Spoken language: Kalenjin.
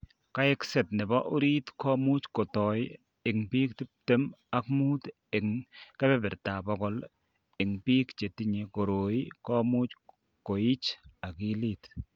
Kaikset nebo orit ko much kotoi, eng' bik tuptem ak mut eng' kebertab bokol eng' biko chetinye koroi ko much koich akilit.